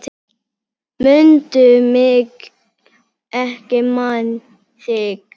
Mundu mig, ég man þig